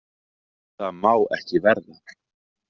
Það má ekki verða.